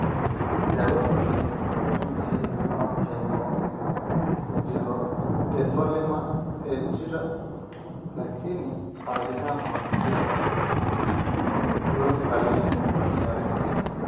Daawadu waxay ku xidhan tahay nooca hemangioendothelioma ee jira laakiin caadi ahaan waxa ku jira goyn qalliin (saarid).